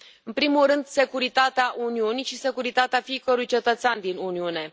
În primul rând, securitatea Uniunii și securitatea fiecărui cetățean din Uniune.